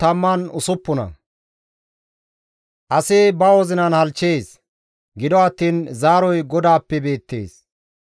Asi ba wozinan halchchees; gido attiin zaaroy GODAAPPE beettees.